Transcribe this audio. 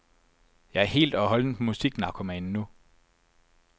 Jeg er helt og holdent musiknarkoman nu.